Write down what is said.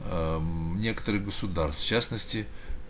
аа некоторых государств в частности